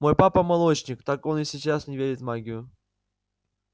мой папа молочник так он и сейчас не верит в магию